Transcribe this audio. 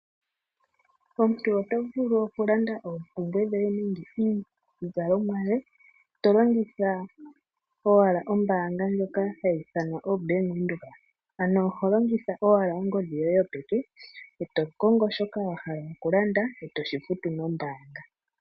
Omuntu oto vulu oku landa oompumbwe dhoye nenge iizalomwa yoye tolongitha owala ombaanga ndjoka hayi ithanwa o bank windhoek, ano oho longitha owala ongodhi yoye yo peka, eto kongo shoka wa hala oku landa, oto shi futu no mbaanga.